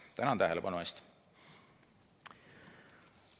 Tänan tähelepanu eest!